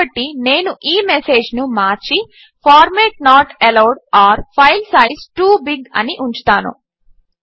కాబట్టి నేను ఈ మెసేజ్ను మార్చి format not allowed or file size too big అని ఉంచుతాను